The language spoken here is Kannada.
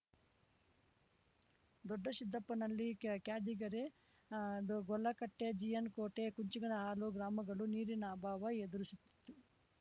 ದೊಡ್ಡಸಿದ್ದಪ್ಪನಹಳ್ಳಿ ಕ್ಯಾ ಕ್ಯಾದಿಗೆರೆ ಆ ಗೊಲ್ಲಕಟ್ಟೆ ಜೆಎನ್‌ ಕೋಟೆ ಕುಂಚಿಗನಹಾಳು ಗ್ರಾಮಗಳೂ ನೀರಿನ ಅಭಾವ ಎದುರಿಸುತ್ತಿತ್ತು